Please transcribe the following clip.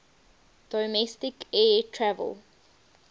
domestic air travel